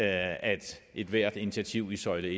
at ethvert initiativ i søjle